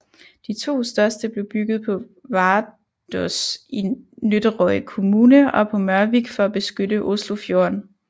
De to største blev bygget på Vardås i Nøtterøy kommune og på Mørvik for at beskytte Oslofjorden